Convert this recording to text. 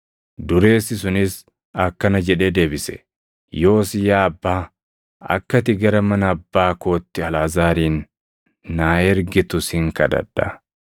“Dureessi sunis akkana jedhee deebise; ‘Yoos yaa Abbaa, akka ati gara mana abbaa kootti Alʼaazaarin naa ergitu sin kadhadha;